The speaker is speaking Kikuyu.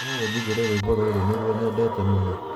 no ũnjigĩre rwĩmbo rũrũ nĩruo nyendete mũno